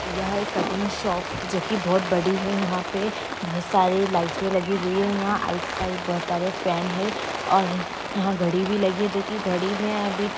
यह एक cutting shop जो कि बहुत बड़ी है। यहाँ पे बहुत सारी लाइटे लगी हुई हैं यहाँ राइट- साइड बहुत सारे फैन हैं और यहाँ घड़ी भी लगी है जो कि घड़ी मे अभी--